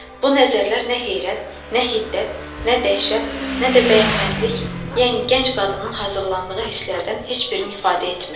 Bu nəzərlər nə heyrət, nə hiddət, nə dəhşət, nə də bəyənməzlik, yəni gənc qadının hazırlandığı hisslərdən heç birini ifadə etmirdi.